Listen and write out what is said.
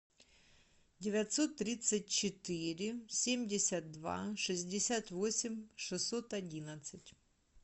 девятьсот тридцать четыре семьдесят два шестьдесят восемь шестьсот одинадцать